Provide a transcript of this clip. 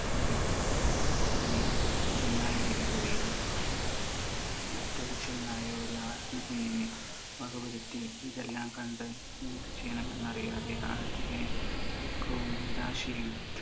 അതിനെ ചെന്നായ് പിടികൂടിയിരുന്നു. പക്ഷെ മറ്റൊരു ചെന്നായ് ഒരു ആട്ടിൻകുഞ്ഞിനെ വകവരുത്തി. ഇതെല്ലാം കണ്ട് എന്ത് ചെയ്യണമെന്നറിയാതെ ആ ആട്ടിടയൻ ദുഃഖവും നിരാശയും